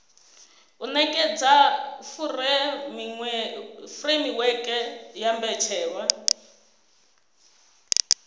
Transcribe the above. u nekedza furemiweke ya mbetshelwa